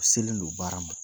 U selen don baara ma.